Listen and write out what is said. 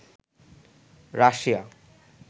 Russia